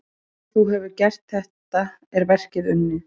Þegar þú hefur gert þetta er verkið unnið.